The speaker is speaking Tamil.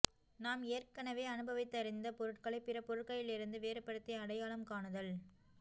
நாம் ஏற்கனவே அனுபவித்தறிந்த பொருட்களை பிற பொருட்களிலிருந்து வேறுபடுத்தி அடையாளம் காணுதல்